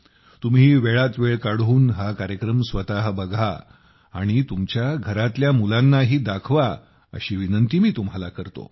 तुम्ही वेळात वेळ काढून हा कार्यक्रम स्वतः बघा आणि तुमच्या घरातल्या मुलांनाही दाखवा अशी विनंती मी तुम्हाला करतो